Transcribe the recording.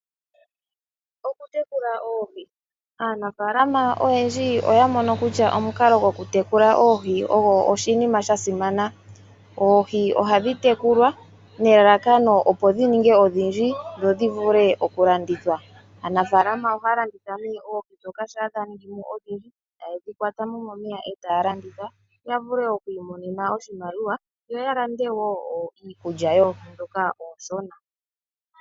Okutekula oohi Aanafaalama oyendji oya mono kutya omukalo gokutekula oohi ogo oshinima sha simana. Oohi ohadhi tekulwa nelalakano dhi ningi odhindji dho dhi vule okulandithwa. Aanafaalama ohaya landitha nduno oohi ndhoka shampa dha ningi mo odhindji, taye dhi kwata mo momeya e taya landitha ya vule okuimona oshimaliwa yo ya lande wo iikulya yoohi ndhoka oonshona.